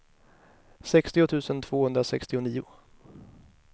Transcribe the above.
sextio tusen tvåhundrasextionio